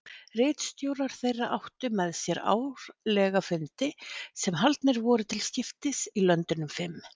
Ritstjórar þeirra áttu með sér árlega fundi sem haldnir voru til skiptis í löndunum fimm.